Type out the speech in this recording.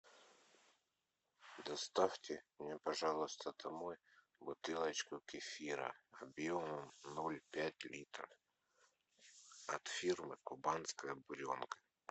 доставьте мне пожалуйста домой бутылочку кефира объемом ноль пять литра от фирмы кубанская буренка